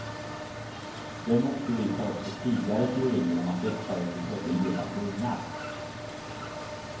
Den motbevisar också tidigare teorier om att dessa djur födde levande ungar.